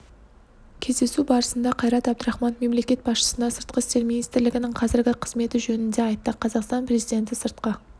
кездесу барысында қайрат әбдірахманов мемлекет басшысына сыртқы істер министрлігінің қазіргі қызметі жөнінде айтты қазақстан президенті сыртқы